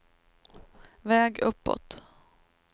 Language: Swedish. väg uppåt